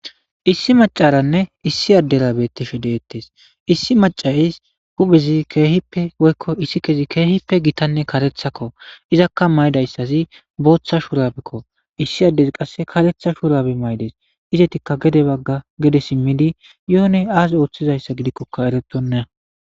issi macaranne issi adderabettishe deettes issi macayis huphezi keehippe woykko issi kezi keehippe gitanne karethakko izakka maydayssazi booththa shuurabikko issi addezi qasse karetha shuurabi maydes izetikka gede bagga gede simmidi yoone aase ooththizayssa gidikkoka erettonna